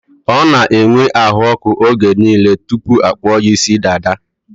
Ọ n'enwe ahụọkụ oge niile tụpụ akpụọ ya ịsị dada